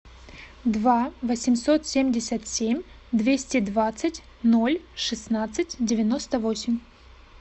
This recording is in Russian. два восемьсот семьдесят семь двести двадцать ноль шестнадцать девяносто восемь